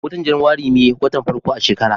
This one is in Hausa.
watan januari me watan farko a shekara